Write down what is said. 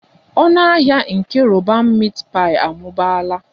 Ọnụ ahịa nke roban meat pie amụbaala